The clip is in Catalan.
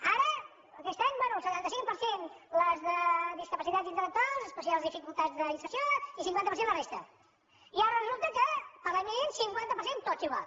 ara aquest any bé el setanta cinc per cent les de discapacitat intel·lectual especials dificultats d’inserció i cinquanta per cent la resta i ara resulta que per a l’any vinent cinquanta per cent tots igual